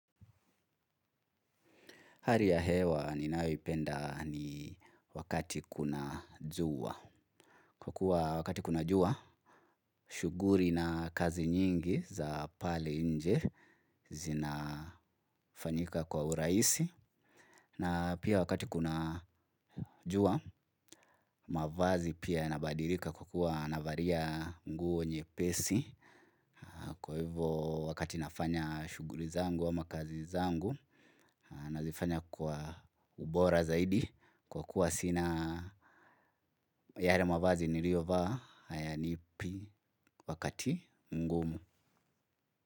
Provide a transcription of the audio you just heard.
Hali ya hewa ninayoipenda ni wakati kuna jua. Kwa kuwa wakati kuna jua, shughuli na kazi nyingi za pale nje zinafanyika kwa urahisi. Na pia wakati kuna jua, mavazi pia yanabadilika kwa kuwa navalia nguo nyepesi. Kwa hivo wakati nafanya shughli zangu ama kazi zangu, nazifanya kwa ubora zaidi. Kwa kuwa sina yale mavazi niliovaa hayanipi wakati mgumu.